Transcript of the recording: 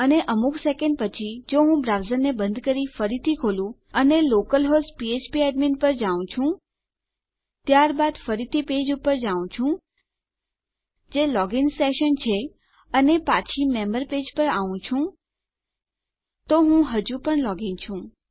અને અમુક સેકેંડ પછી જો હું મારા બ્રાઉઝરને બંધ કરી ફરીથી ખોલું અને લોકલ હોસ્ટ ફ્ફ્પ એકેડમી પર જાઉં છું ત્યારબાદ ફરીથી મારા પેજ પર જાઉં છું જે લોગિન સેશન છે અને પાછો મેમ્બર પેજ પર આઉં છું તો હું હજુ પણ લોગ ઇન છું